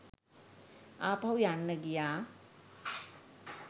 ආපහු යන්න ගියා